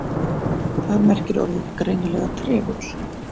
Þar merkir orðið greinilega trefill.